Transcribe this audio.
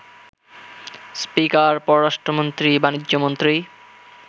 speaker, পররাষ্ট্রমন্ত্রী, বাণিজ্যমন্ত্রী,